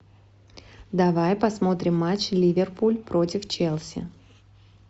давай посмотрим матч ливерпуль против челси